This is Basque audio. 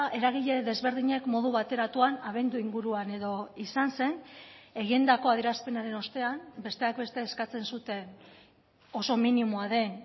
eragile desberdinek modu bateratuan abendu inguruan edo izan zen egindako adierazpenaren ostean besteak beste eskatzen zuten oso minimoa den